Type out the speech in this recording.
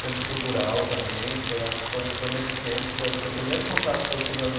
Centro Cultural também, foi acho que foi foi nesse tempo, foi foi o primeiro contato que eu tive aos